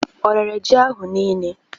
O rere ji ahụ niile?